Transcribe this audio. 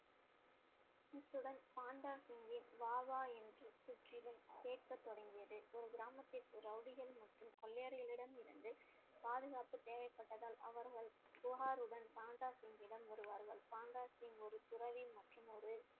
இத்துடன் பாண்டா சிங்கின் தொடங்கியது ஒரு கிராமத்திற்கு ரவுடிகள் மற்றும் கொள்ளையர்களிடம் இருந்து பாதுகாப்பு தேவைப்பட்டதால் அவர்கள் புகாருடன் பண்டா சிங்கிடம் வருவார்கள் பண்டா சிங்க் ஒரு துறவி மற்றும் ஒரு